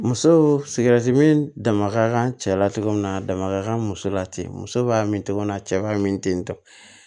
Muso sikɛriti mi dama ka cɛ la cogo min na a dama ka kan muso la ten muso b'a min cogo min na cɛ b'a min ten